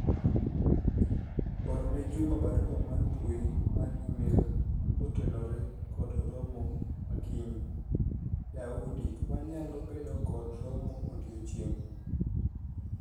orne Juma barua mar mbui mar email kotenore kod romo ma kiny Daudi wanyalo bedo kod romo odiochieng'